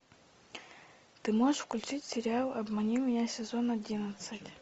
ты можешь включить сериал обмани меня сезон одиннадцать